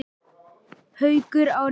Haukur: Á réttan stað?